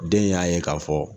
Den y'a ye ka fɔ